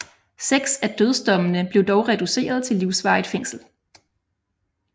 Seks af dødsdommene blev dog reduceret til livsvarigt fængsel